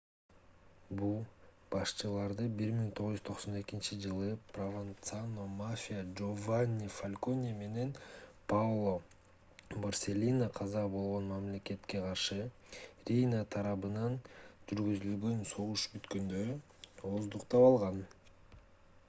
бул башчыларды 1992-жылы прованцано мафия жованни фалконе менен паоло борселлино каза болгон мамлекетке каршы рийна тарабынан жүргүзүлгөн согуш бүткөндө ооздуктап алган